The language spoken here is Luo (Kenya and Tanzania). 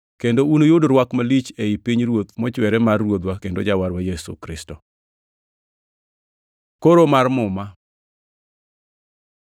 kendo unuyud rwak malich ei pinyruoth mochwere mar Ruodhwa kendo Jawarwa Yesu Kristo. Koro mar Muma